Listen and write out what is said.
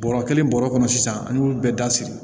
Bɔrɔ kelen bɔrɔ kɔnɔ sisan an y'olu bɛɛ dasiri